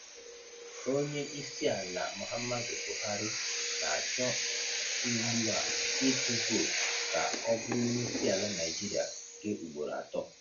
Onye isi ala Muhammadu Buhari na-achọ ugbu a ịtụ vootu ka ọ bụrụ onyeisiala Naịjirịa nke ugboro atọ.